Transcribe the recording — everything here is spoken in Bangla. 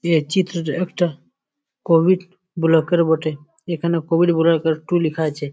এই চিত্রটি একটা কোভিড ব্লক -এর বটে। এখানে কোভিড ব্লক -এর টু লিখা আছে।